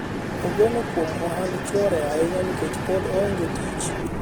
ogeno kuom ohand chuore ahinya nikech pod oonge tich